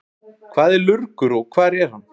Hvað er lurgur og hvar er hann?